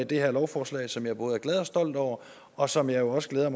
det her lovforslag som jeg både er glad og stolt over og som jeg også glæder